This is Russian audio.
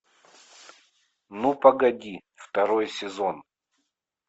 ну погоди второй сезон